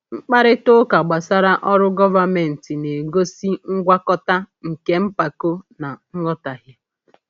Mkparịta ụka gbasara ọrụ gọvanmentị na-egosi ngwakọta nke mpako na nghọtahie.